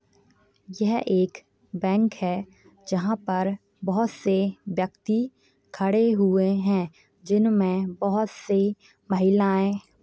यह एक बैंक है जहाँ पर बहुत से व्यक्ति खड़े हुए हैं जिन में बहुत सी महिलायें--